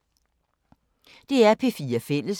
DR P4 Fælles